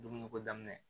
Dumuni ko daminɛ